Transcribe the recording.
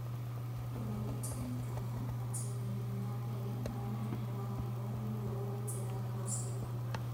imwe itũmĩkaga matĩna-inĩ ma mbere ma mũrimũ wa higo nĩguo kũgitĩra higo ciaku